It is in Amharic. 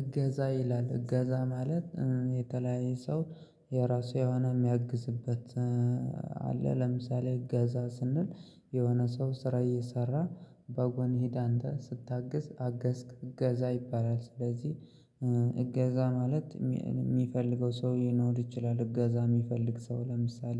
እገዛ ይላል እገዛ ማለት የተለያየ ሰው የራሱ የሆነ የሚያግዝበት አለ። ለምሳሌ እገዛ ስንል የሆነ ሰው ስራ እየሰራ በጎን ሂድ አንተ ስታግዝ አገዝክ እገዛ ይባላል። ስለዚህ እገዛ ማለት የሚፈልገው ሰው ሊኖር ይችላል እገዛ የሚፈልግ ሰው ለምሳሌ